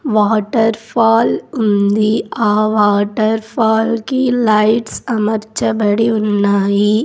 Water fall ఉంది ఆ waterfall కి లైట్స్ అమర్చబడి ఉన్నాయి.